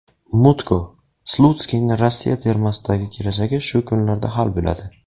Mutko: Slutskiyning Rossiya termasidagi kelajagi shu kunlarda hal bo‘ladi.